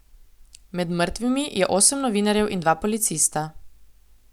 Med mrtvimi je osem novinarjev in dva policista.